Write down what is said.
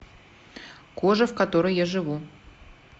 кожа в которой я живу